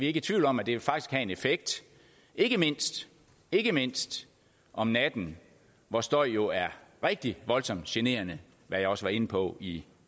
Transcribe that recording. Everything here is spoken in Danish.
ikke i tvivl om at det faktisk vil have en effekt ikke mindst ikke mindst om natten hvor støj jo er rigtig voldsomt generende hvad jeg også var inde på i